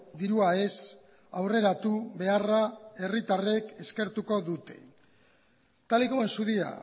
dirua ez aurreratu beharra herritarrek eskertuko dute tal y como en su día